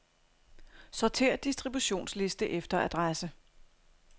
Sortér distributionsliste efter adresse.